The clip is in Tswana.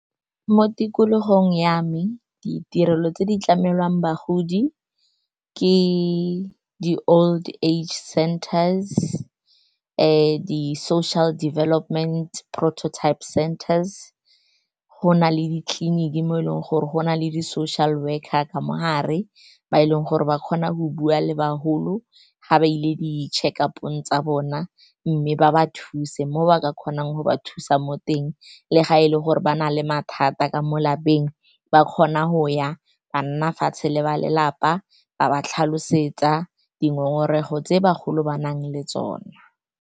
Mo tikologong ya me, ditirelo tse di tlamelwang bagodi ke di-old age centers, di-social development prototype centers. Go na le ditleliniki mo e leng gore go na le di-social worker ka mogare, ba e leng gore ba kgona go bua le bagolo ga ba ile di-check up-ong tsa bona, mme ba ba thuse mo ba ka kgonang. Go ba thusa mo teng, le fa e le gore ba na le mathata ka mo lapeng, ba kgona go ya ba nne fatshe le ba lelapa, ba ba tlhalosetse dingongorego tse bagolo ba nang le tsona.